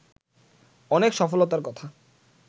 অনেক সফলতার কথা